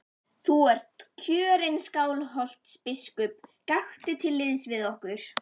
Þú ert kjörinn Skálholtsbiskup, gakktu til liðs við okkur.